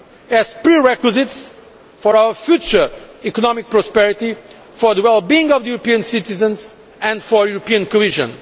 as prerequisites for our future economic prosperity, for the well being of European citizens and for European cohesion.